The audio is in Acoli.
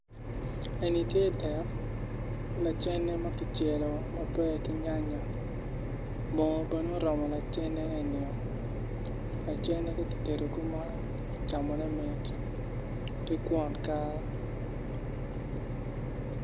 Eni tye dek lacene ma kicelo maber ki nyanya moo bene oromo lacene enio lacene ka kitedo kuman camone mit ki kwon kal.